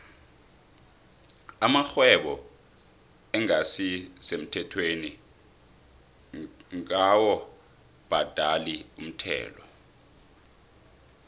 amarhwebo engasi semthethweni dkawu bhadali umthelo